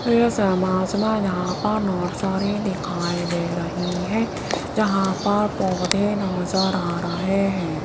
इस इमेज में यहां पर नर्सरी दिखाई दे रही है जहां पर पौधे नजर आ रहे हैं।